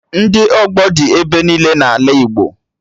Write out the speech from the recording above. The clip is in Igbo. Ndị ọgbọ dị ebe niile n'ala Igbo